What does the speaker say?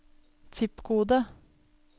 zip-kode